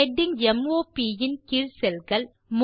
heading m o ப் இன் கீழ் cellகள்